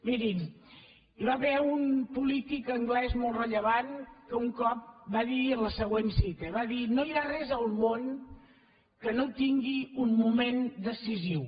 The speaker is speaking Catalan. mirin hi va haver un polític anglès molt rellevant que un cop va dir la següent cita va dir no hi ha res al món que no tingui un moment decisiu